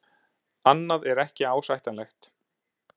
Annað er ekki ásættanlegt.